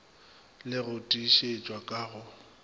le go tiišetšwa ka go